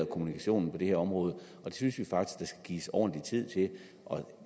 kommunikationen på det her område det synes vi faktisk gives ordentlig tid til og